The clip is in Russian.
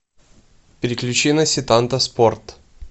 переключи на сетанта спорт